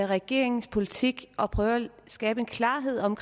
regeringens politik og prøver at skabe klarhed om